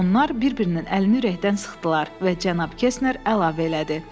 Onlar bir-birinin əlini ürəkdən sıxdılar və Cənab Kesner əlavə elədi: